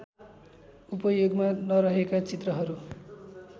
उपयोगमा नरहेका चित्रहरू